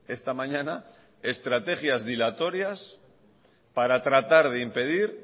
esta mañana estrategias dilatorias para tratar de impedir